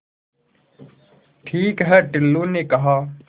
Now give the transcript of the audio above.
ठीक है टुल्लु ने कहा